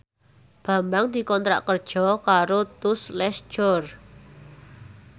Bambang dikontrak kerja karo Tous Les Jour